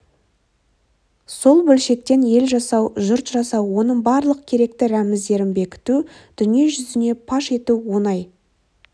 сол бөлшектен ел жасау жұрт жасау оның барлық керекті рәміздерін бекіту дүниежүзіне паш ету оңай